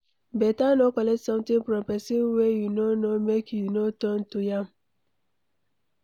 Beta no collect something from pesin wey you no know make you no turn to yam